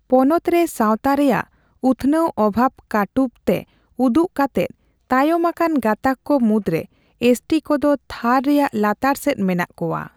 ᱯᱚᱱᱚᱛ ᱨᱮ ᱥᱟᱣᱛᱟ ᱨᱮᱭᱟᱜ ᱩᱛᱷᱱᱟᱹᱣ ᱚᱵᱷᱟᱵᱽ ᱠᱟᱴᱩᱵᱛᱮ ᱩᱫᱩᱜ ᱠᱟᱛᱮᱫ, ᱛᱟᱭᱚᱢ ᱟᱠᱟᱱ ᱜᱟᱛᱟᱠ ᱠᱚ ᱢᱩᱫᱽᱨᱮ, ᱮᱥ ᱴᱤ ᱠᱚᱫᱚ ᱛᱷᱟᱨ ᱨᱮᱭᱟᱜ ᱞᱟᱛᱟᱨ ᱥᱮᱫ ᱢᱮᱱᱟᱜ ᱠᱚᱣᱟ ᱾